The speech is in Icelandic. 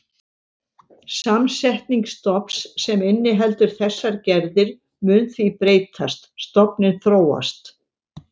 Samsetning stofns sem inniheldur þessar gerðir mun því breytast, stofninn þróast.